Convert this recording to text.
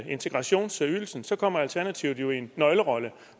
integrationsydelsen så kommer alternativet jo i en nøglerolle